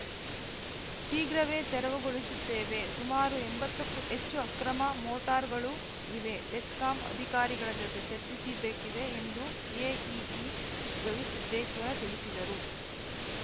ಶೀಘ್ರವೇ ತೆರವುಗೊಳಿಸುತ್ತೇವೆ ಸುಮಾರು ಎಂಬತ್ತಕ್ಕೂ ಹೆಚ್ಚು ಅಕ್ರಮ ಮೋಟಾರ್‌ಗಳು ಇವೆ ಬೆಸ್ಕಾಂ ಅಧಿಕಾರಿಗಳ ಜತೆ ಚರ್ಚಿಸಿಬೇಕಿದೆ ಎಂದು ಎಇಇ ಗವಿಸಿದ್ದೇಶ್ವರ್‌ ತಿಳಿಸಿದರು